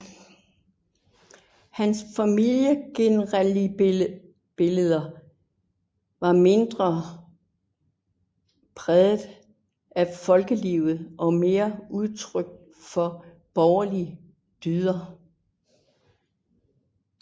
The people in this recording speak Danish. Hans familiegenrebilleder var mindre præget af folkelivet og mere udtryk for borgerlige dyder